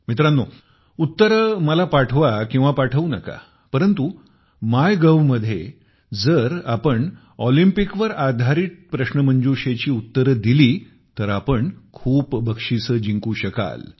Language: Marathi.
मित्रांनो उत्तरे मला पाठवू नका परंतु मायगव्ह मध्ये जर आपण ऑलिंपिकवर प्रश्नोत्तरी मधील प्रश्नांची उत्तरे दिली तर आपण खूप सारी बक्षीसे जिंकू शकाल